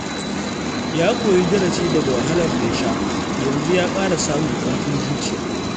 Ya koyi darasi daga wahalar da ya sha, yanzu ya ƙara samun ƙarfin zuciya.